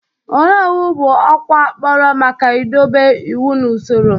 Onowu bụ ọkwa akpọrọ maka idobe iwu na usoro.